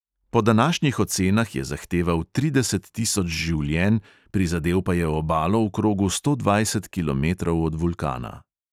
Po današnjih ocenah je zahteval trideset tisoč življenj, prizadel pa je obalo v krogu sto dvajset kilometrov od vulkana.